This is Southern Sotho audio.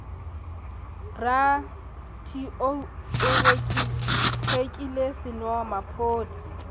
bra t o rekile senomaphodi